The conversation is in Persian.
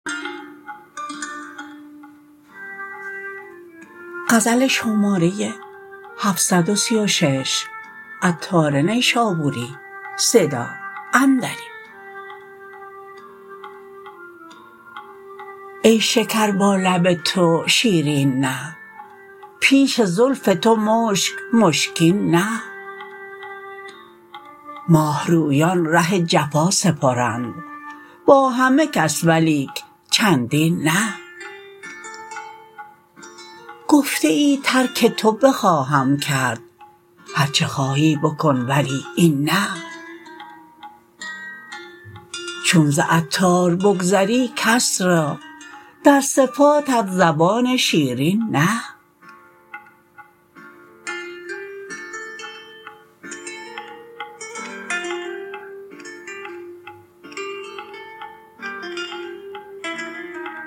ای شکر با لب تو شیرین نه پیش زلف تو مشک مشکین نه ماهرویان ره جفا سپرند با همه کس ولیک چندین نه گفته ای ترک تو بخواهم کرد هرچه خواهی بکن ولی این نه چون ز عطار بگذری کس را در صفاتت زبان شیرین نه